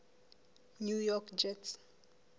new york jets